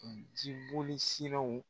jiboli siraw